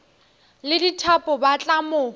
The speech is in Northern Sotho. le dithapo ba tla mo